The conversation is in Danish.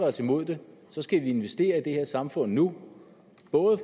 os imod det skal vi investere i det her samfund nu